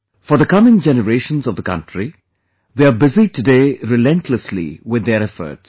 For the coming generations of the country, they are busy today relentlessly with their efforts